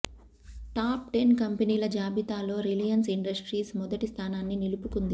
top ten కంపెనీల జాబితాలో Reliance Industries మొదటి స్థానాన్ని నిలుపుకుంది